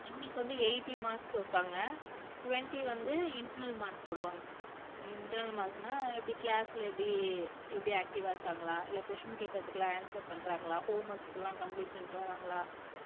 இவங்களுக்கு வந்து eighty marks வைப்பாங்க twenty வந்து internal mark போடுவாங்க internal mark ன எப்படி class ல எப்படி எப்படி active ஆ இருக்காங்களா இல்லை question கேட்கறதுக்கு எல்லாம் answer பண்றாங்களா homeworks எல்லாம் complete பண்ணிட்டு வர்றாங்களா